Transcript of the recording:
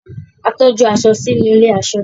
A tọju aṣọ sínú ilé aṣọ.